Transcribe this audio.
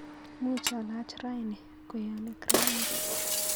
Muuch alaach raini kweyonik raini